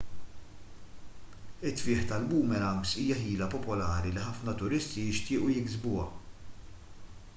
it-tfigħ tal-boomerangs hija ħila popolari li ħafna turisti jixtiequ jiksbuha